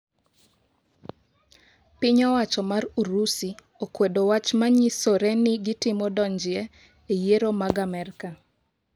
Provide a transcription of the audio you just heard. Piny Owacho mar Urusi okwedo wach manyisore ni gitemo donjie e yiero mag Amerka.